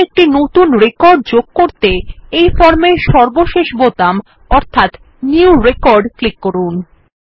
এবার একটি নতুন রেকর্ড যোগ করতে এই ফর্মের সর্বশেষ বোতাম অর্থাত নিউ রেকর্ড ক্লিক করুন